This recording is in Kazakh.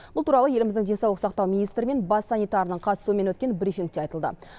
бұл туралы еліміздің денсаулық сақтау министрі мен бас санитарының қатысуымен өткен брифингте айтылды